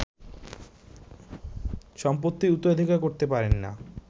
সম্পত্তির উত্তরাধিকার করতে পারেননা